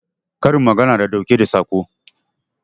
Karin magana na ɗauke da Saƙo